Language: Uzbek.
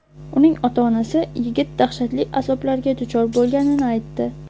Uning ota-onasi yigit dahshatli azoblarga duchor bo‘lganini aytdi.